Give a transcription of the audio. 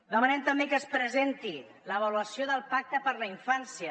demanem també que es presenti l’avaluació del pacte per la infància